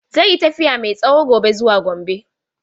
Zai yi tafiya mai tsawo gobe zuwa Gombe.